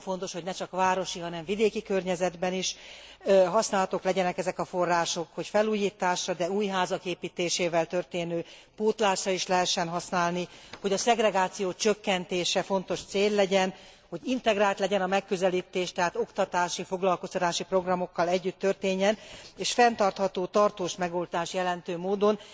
Nagyon fontos, hogy ne csak városi, hanem vidéki környezetben is használhatók legyenek ezek a források, hogy felújításra, de új házak építésével történő pótlásra is lehessen használni, hogy a szegregáció csökkentése fontos cél legyen, hogy integrált legyen a megközelítés, tehát oktatási, foglalkoztatási programokkal együtt történjen, és fenntartható, tartós megoldást jelentő módon.